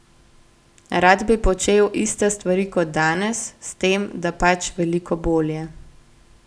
Rad bi počel iste stvari kot danes, s tem, da pač veliko bolje.